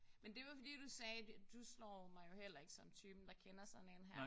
Men det var fordi du sagde du slår mig jo heller ikke som typen der kender sådan én her